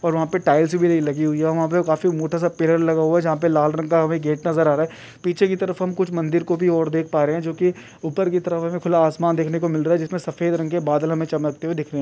और वहा पे टाइल्स भी नहीं लगि हुई है और वहा पे काफी मोटासा पिलर लगा हुआ है जहा पर लाल रंग का हमे गेट नज़र आ रहा है पीछे की तरफ हम कुछ मंदिर को भी और देख पा रहे है जो की ऊपर की तरफ हमे खुला आसमान देखने को मिल रहा है जिसमे सफेद रंग के बादल हमे चमकते हुए दिख रहे --